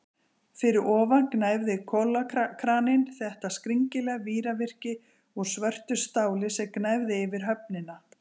Fyrir ofan gnæfði kolakraninn, þetta skringilega víravirki úr svörtu stáli sem gnæfði yfir höfnina.